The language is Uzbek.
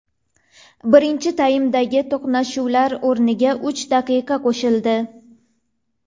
Birinchi taymdagi to‘xtalishlar o‘rniga uch daqiqa qo‘shildi.